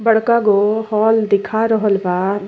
बड़का गो हॉल दिखा रहल बा।